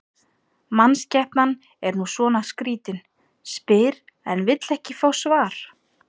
Mannskepnan er nú svona skrýtin, spyr en vill ekki fá svar.